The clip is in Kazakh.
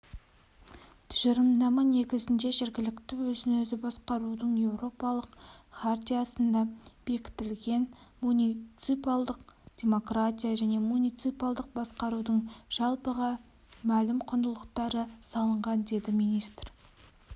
тұжырымдама негізіне жергілікті өзін-өзі басқарудың еуропалық хартиясында бекітілген муниципалдық демократия мен муниципалдық басқарудың жалпыға мәлім құндылықтары салынған деді министр